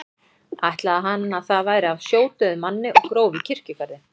Ætlaði hann að það væri af sjódauðum manni og gróf í kirkjugarði.